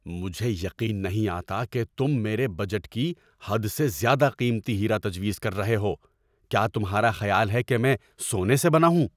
مجھے یقین نہیں آتا کہ تم میرے بجٹ کی حد سے زیادہ قیمتی ہیرا تجویز کر رہے ہو! کیا تمہارا خیال ہے کہ میں سونے سے بنا ہوں؟